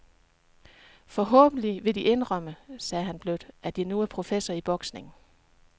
Forhåbentlig vil de indrømme, sagde han blødt, at jeg nu er professor i boksning.